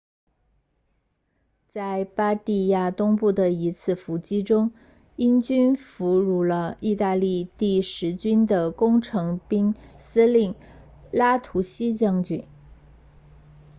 在巴蒂亚东部的一次伏击中英军俘虏了意大利第十军的工程兵司令拉图西将军